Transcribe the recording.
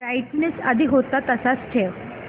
brightness आधी होता तसाच ठेव